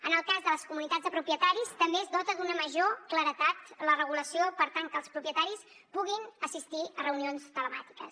en el cas de les comunitats de propietaris també es dota d’una major claredat la regulació per tal que els propietaris puguin assistir a reunions telemàtiques